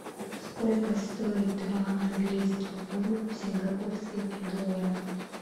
сколько стоит два английских фунта в сингапурских долларах